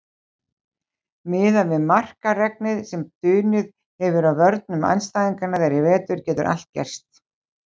Miðað við markaregnið sem dunið hefur á vörnum andstæðinga þeirra í vetur getur allt gerst.